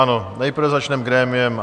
Ano, nejprve začneme grémiem.